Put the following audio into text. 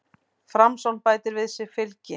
Framsókn bætir við sig fylgi